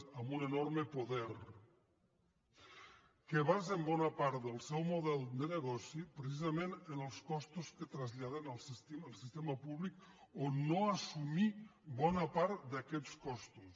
amb un enorme poder que basen bona part del seu model de negoci precisament en els costos que traslladen al sistema públic o no assumir bona part d’aquestes costos